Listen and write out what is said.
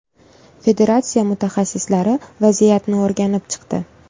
Federatsiya mutaxassislari vaziyatni o‘rganib chiqdi.